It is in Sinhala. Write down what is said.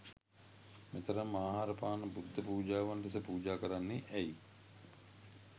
මෙතරම් ආහාර පාන බුද්ධ පූජාවන් ලෙස පූජා කරන්නේ ඇයි